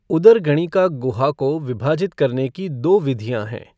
उदरगणिका गुहा को विभाजित करने की दो विधियाँ हैं।